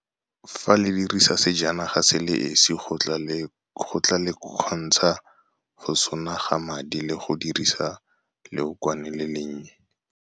Fa le dirisa sejanaga se le esi go tla le kgontsha go sonaga madi le go dirisa leokwane le le nnye.